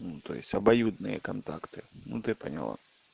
ну то есть обоюдные контакты ну ты поняла